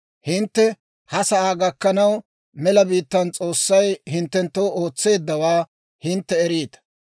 Hintte ha sa'aa gakkanaw, mela biittaan s'oossay hinttenttoo ootseeddawaa hintte eriita.